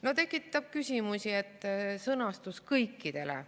No tekitab küsimusi sõna "kõikidele".